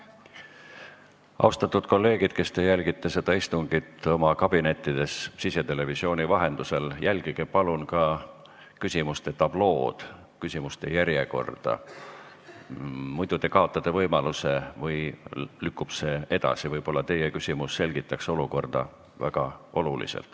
Austatud kolleegid, kes te jälgite istungit oma kabinettides sisetelevisiooni vahendusel, jälgige palun ka küsimuste järjekorda tablool, muidu te kaotate võimaluse küsida või lükkub see edasi, kuigi võib-olla teie küsimus selgitaks olukorda oluliselt.